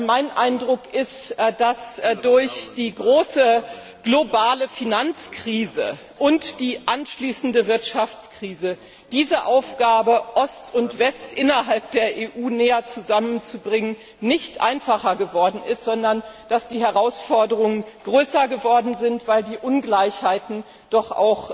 Mein Eindruck ist, dass durch die große globale Finanzkrise und die anschließende Wirtschaftskrise die Aufgabe, Ost und West innerhalb der EU näher zusammenzubringen, nicht einfacher geworden ist, sondern dass die Herausforderungen größer geworden sind, weil die Ungleichgewichte doch